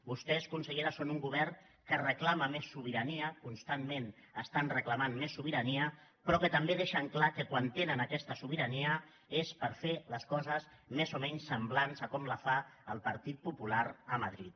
vostès consellera són un govern que reclama més sobirania constantment reclamen més sobirania però que també deixen clar que quan tenen aquesta sobirania és per fer les coses més o menys semblants a com les fa el partit popular a madrid